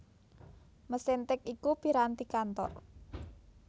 Mesin tik iku piranti kantor